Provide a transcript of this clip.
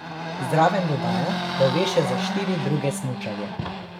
Zraven dodaja, da ve še za štiri druge smučarje.